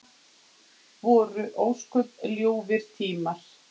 sagði hann einu sinni reiður.